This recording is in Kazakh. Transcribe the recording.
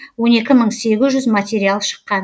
он екі мың сегіз жүз материал шыққан